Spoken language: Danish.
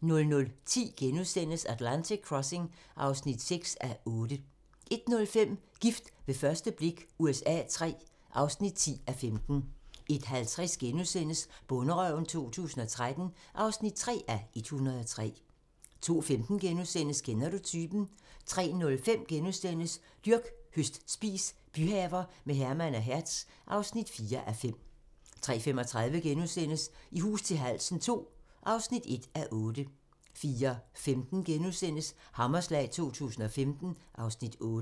00:10: Atlantic Crossing (6:8)* 01:05: Gift ved første blik USA III (10:15) 01:50: Bonderøven 2013 (3:103)* 02:15: Kender du typen? * 03:05: Dyrk, høst, spis - byhaver med Herman og Hertz (4:5)* 03:35: I hus til halsen II (1:8)* 04:15: Hammerslag 2015 (Afs. 8)*